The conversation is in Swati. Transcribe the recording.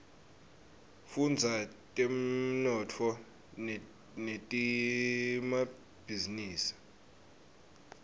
fudza temnotfo netemabhizinisa